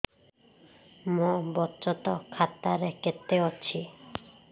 ମୋ ବଚତ ଖାତା ରେ କେତେ ଅଛି